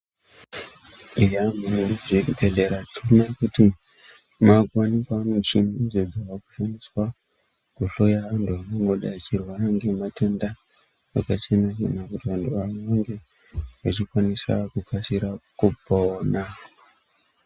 Eya muzvibhedhlera tinoona kuti makuwanikwa michini idzo dzekushandisa kuhloya antu anongodai echirwara ngematenda akasiyana siyana kuti vantu vanonge echikukasira kupona.